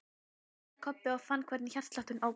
Jæja, sagði Kobbi og fann hvernig hjartslátturinn óx.